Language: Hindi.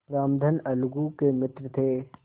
रामधन अलगू के मित्र थे